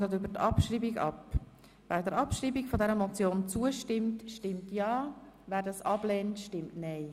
Wer sie abschreiben will, stimmt ja, wer das ablehnt, stimmt nein.